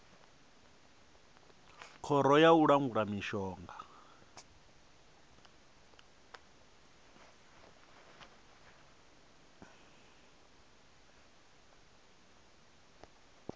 khoro ya u langula mishonga